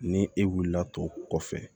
Ni e wulila tɔ kɔfɛ